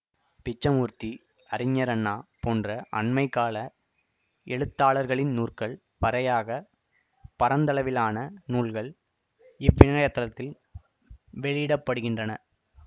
பிச்சமூர்த்தி அறிஞர் அண்ணா போன்ற அண்மை கால எழுத்தாளர்களின் நூற்கள் வரையாகப் பரந்தளவிலான நூல்கள் இவ்விணையத்தளத்தில் வெளியிடப்படுகின்றன